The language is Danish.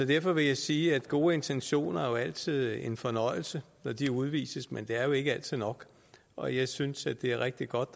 derfor vil jeg sige at gode intentioner altid er en fornøjelse når de udvises men det er jo ikke altid nok og jeg synes det er rigtig godt